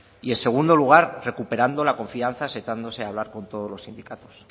y en segundo lugar recuperando la confianza sentándose a hablar con todos los sindicatos